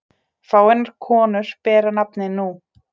Fáeinar konur bera nafnið nú.